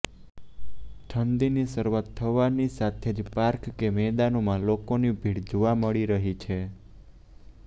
ઠંડીની શરૂઆત થતાની સાથે જ પાર્ક કે મેદાનોમાં લોકોની ભીડ જોવા મળી રહી છે